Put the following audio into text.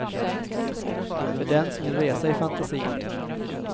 För den som vill resa i fantasin.